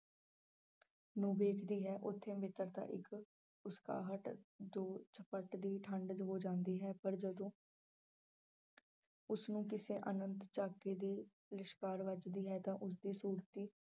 ਨੂੰ ਵੇਖਦੀ ਹੈ ਉੱਥੇ ਮਿੱਤਰਤਾ ਇੱਕ ਹੋ ਜਾਂਦੀ ਹੈ ਪਰ ਜਦੋਂ ਉਸਨੂੰ ਕਿਸੇ ਆਨੰਦ ਝਾਕੀ ਦੀ ਲਿਸ਼ਕਾਰ ਵੱਜਦੀ ਹੈ ਤਾਂ ਉਸਦੀ ਸੁਰਤੀ